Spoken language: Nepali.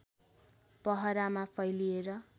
पहरामा फैलिएर